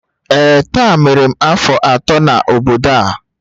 Ee, taa mere m afọ atọ n'obodo a